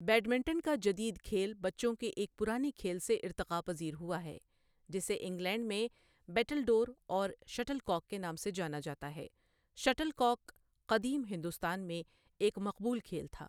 Badminton کا جدید کھیل بچوں کے ایک پرانے کھیل سے ارتقا پذیر ہوا ہے جسے انگلینڈ میں بیٹلڈور اور شٹل کاک کے نام سے جانا جاتا ہے، شٹل کاک قدیم ہندوستان میں ایک مقبول کھیل تھا۔